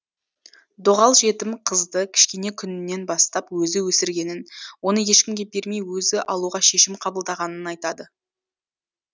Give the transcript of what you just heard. доғал жетім қызды кішкене күнінен бастап өзі өсіргенін оны ешкімге бермей өзі алуға шешім қабылдағанын айтады